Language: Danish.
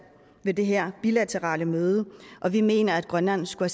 ved det her bilaterale møde og vi mener at grønland skulle